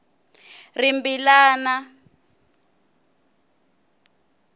rimbilana